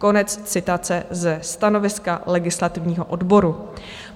Konec citace ze stanoviska legislativního odboru.